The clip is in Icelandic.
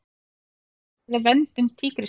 Ræða verndun tígrisdýra